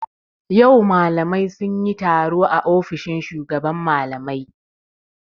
Yau malamai sun yi taro a ofishin shugaban malamai.